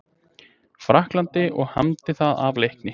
Frakklandi og hamdi það af leikni.